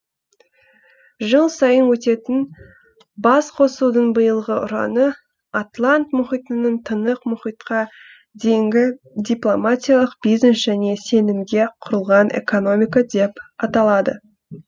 жыл сайын өтетін басқосудың биылғы ұраны атлант мұхитының тынық мұхитқа дейінгі дипломатиялық бизнес және сенімге құрылған экономика деп аталады